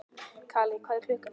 Kali, hvað er klukkan?